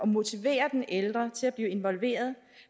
motivere den ældre til at blive involveret